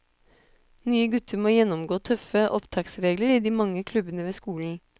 Nye gutter må gjennomgå tøffe opptaksregler i de mange klubbene ved skolen.